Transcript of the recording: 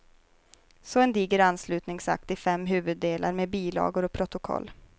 Så en diger anslutningsakt i fem huvuddelar med bilagor och protokoll.